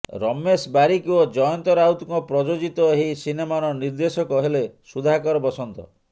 ରମେଶ ବାରିକ ଓ ଜୟନ୍ତ ରାଉତଙ୍କ ପ୍ରଯୋଜିତ ଏହି ସିନେମାର ନିର୍ଦ୍ଦେଶକ ହେଲେ ସୁଧାକର ବସନ୍ତ